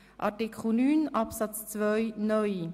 Artikel 9 Absatz 2 (neu):